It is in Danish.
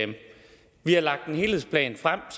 vi har lagt en helhedsplan frem og